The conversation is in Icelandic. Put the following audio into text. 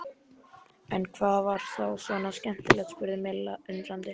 En hvað var þá svona skemmtilegt? spurði Milla undrandi.